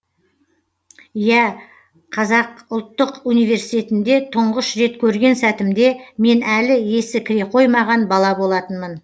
иә қазақ ұлттық университетінде тұңғыш рет көрген сәтімде мен әлі есі кіре қоймаған бала болатынмын